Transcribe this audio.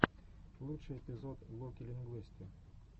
лучший эпизод локи лингуисты